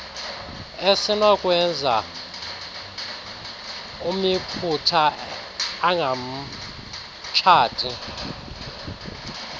esinokwenza umyiputa angamtshati